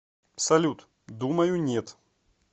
салют думаю нет